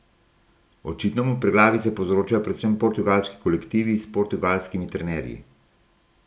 Očitno mu preglavice povzročajo predvsem portugalski kolektivi s portugalskimi trenerji.